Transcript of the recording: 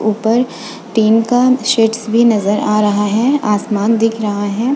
ऊपर टीन का शेड्स भी नजर आ रहा है आसमान दिख रहा है।